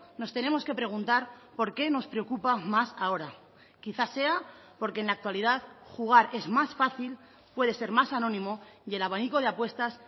nos tenemos que preguntar por qué nos preocupa más ahora quizá sea porque en la actualidad jugar es más fácil puede ser más anónimo y el abanico de apuestas